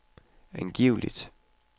angiveligt